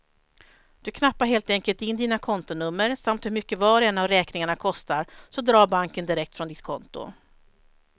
Du knappar helt enkelt in dina kontonummer samt hur mycket var och en av räkningarna kostar, så drar banken direkt från ditt konto.